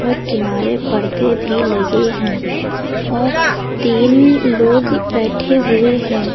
और किनारे पर्दे भी लगे हैं और तीन लोग बैठे हुए हैं।